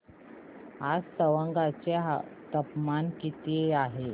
आज तवांग चे तापमान किती आहे